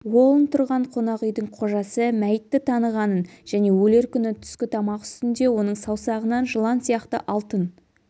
уолн тұрған қонақүйдің қожасы мәйітті танығанын және өлер күні түскі тамақ үстінде оның саусағынан жылан сияқты алтын